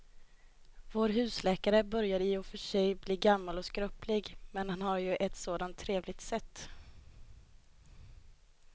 Vår husläkare börjar i och för sig bli gammal och skröplig, men han har ju ett sådant trevligt sätt!